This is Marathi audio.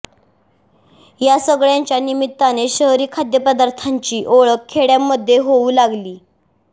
या सगळ्यांच्या निमित्ताने शहरी खाद्यपदार्थांची ओळख खेड्यांमध्ये होऊ लागली